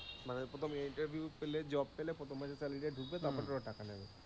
মানে কোথাও interview পেলে, job পেলে প্রথম মাসের salary টা ঢুকবে তারপরে ওরা টাকা নেবে।